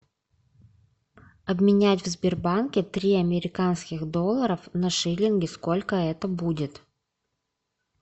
обменять в сбербанке три американских доллара на шиллинги сколько это будет